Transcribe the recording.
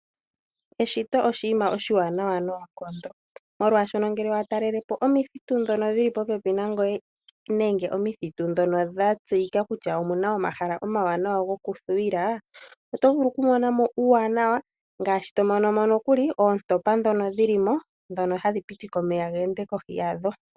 Eshito oshinima oshiwanawa noonkondo molwaashono ngele wa talalelepo omithitu ndhono dhili popepi nangoye nenge omithitu ndhono dha tseyika kutya omuna omahala omawanawa gokuthuwila, oto vulu oku mona mo uuwanawa, ngaashi to mono mo nokuli oontopa ndhono dhili mo, ndhono hadhi pitike omeya ge ende kohi yadho. We